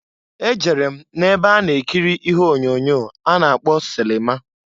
E jere m na-ebe a na-ekiri ihe onyoonyo a na-akpọ sịlịma.